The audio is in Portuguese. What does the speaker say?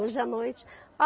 Hoje à noite.